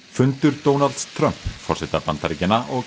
fundur Donalds Trump forseta Bandaríkjanna og